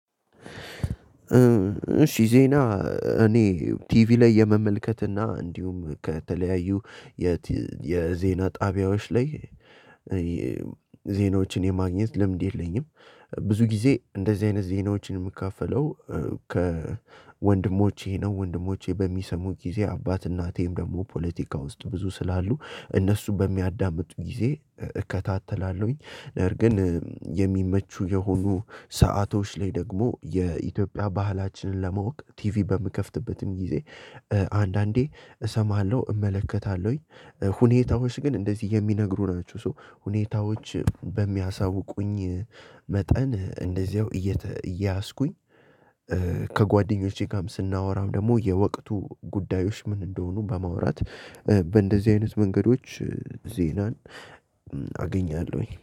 ሺዜ ና እኔ ቲቪ ላይ የመመልከት እና እንዲሁም ከተለያዩ የዜና ጣቢያዎች ላይ ዜናዎችን የማግኘት ልምድ የለኝም። ብዙ ጊዜ እንደዚህ አይነት ዜናዎችን የምካፈለው ከወንድሞቼ ነው። ወንድሞቼ በሚሰሙኝ ጊዜ አባት፣ እናቴም ደግሞ ፖለቲካ ውስጥ ብዙ ስላሉ እነሱ በሚያዳምጡ ጊዜ እከታተላለሁኝ። ነገር ግን የሚመቹ የሆኑ ሰአቶች ላይ ደግሞ የኢትዮጵያ ባህላችንን ለማወቅ ቲቪ በምከፍትበትም ጊዜ አንዳንዴ እሰማለው እመለከታለው። ሁኔታዎች ግን እንደዚ የሚነግሩ ናቸው። እና ሁኔታዎች በሚያሳውቁኝ መጠን እንደዚያው እየያዝኩኝ። ከ ጓደኞቼ ጋም ስናዎራ ደሞ የወቅቱ ጉዳዮች ምን እንደሆኑ በማውራት በ እንደዚ አይነት መንገዶች ዜናን አገኛለው